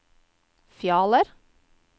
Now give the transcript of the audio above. Fjaler